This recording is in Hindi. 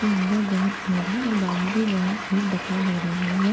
के अंदर बहुत भीड़ है और बाहर भी बहुत भीड़ दिखाई दे रही है।